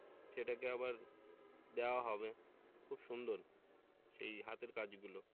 সেটাকে আবার দেয়া হবে খুব সুন্দর এই হাতের কাজগুলো।